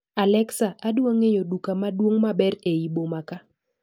Alexa adwang'eyo duka maduong' maber eiy boma kaa